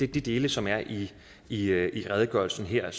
de dele som er i i redegørelsen her og